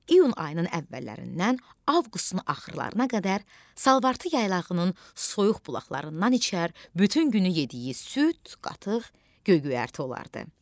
İyun ayının əvvəllərindən avqustun axırlarına qədər salvartı yaylağının soyuq bulaqlarından içər, bütün günü yediyi süd, qatıq, göy-göyərti olardı.